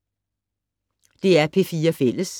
DR P4 Fælles